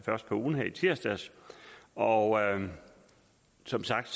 først på ugen i tirsdags og som sagt